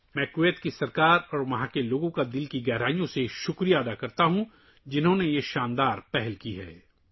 میں کویت کی حکومت اور عوام کا تہہ دل سے شکریہ ادا کرتا ہوں کہ انہوں نے یہ شاندار اقدام اٹھایا